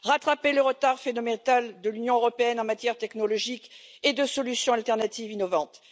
rattraper le retard phénoménal de l'Union européenne en matière technologique et de solutions alternatives innovantes